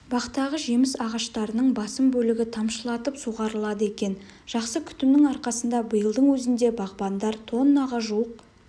бақтағы жеміс ағаштарының басым бөлігі тамшылатып суғарылады екен жақсы күтімнің арқасында биылдың өзінде бағбандар тоннаға жуық